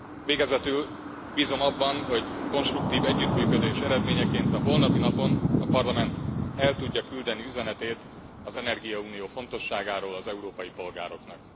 Végezetül bízom abban, hogy konstruktív együttműködés eredményeként a holnapi napon a Parlament el tudja küldeni üzenetét az energiaunió fontosságáról az európai polgároknak.